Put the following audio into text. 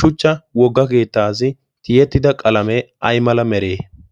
shuchcha wogga keettaassi tiyettida qalamee ai mala meree?